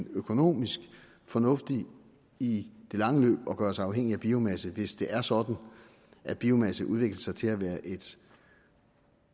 økonomisk fornuftigt i det lange løb at gøre sig afhængig af biomasse hvis det er sådan at biomasse udvikler sig til at være et